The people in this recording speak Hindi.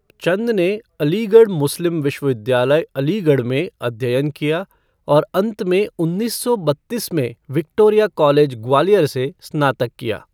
चंद ने अलीगढ़ मुस्लिम विश्वविद्यालय, अलीगढ़ में अध्ययन किया और अंत में उन्नीस सौ बत्तीस में विक्टोरिया कॉलेज, ग्वालियर से स्नातक किया।